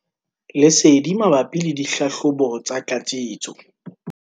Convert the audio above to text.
Lesedi mabapi le dihlahlobo tsa tlatsetso.